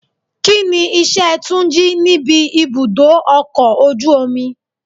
Kíni iṣẹ́ Túnjí níbi ibùdó ọkọ̀ ojú omi?